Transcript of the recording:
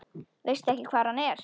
Veistu ekki hvar hann er?